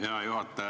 Hea juhataja!